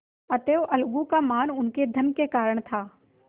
अतएव अलगू का मान उनके धन के कारण था